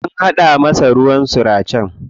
An haɗa masa ruwan suracen.